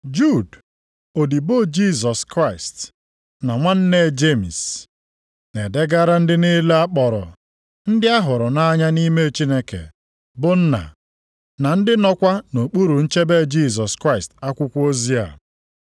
Jud, odibo Jisọs Kraịst, na nwanne Jemis, Na-edegara ndị niile a kpọrọ, ndị ahụrụ nʼanya nʼime Chineke, bụ Nna, na ndị nọkwa nʼokpuru nchebe Jisọs Kraịst akwụkwọ ozi a: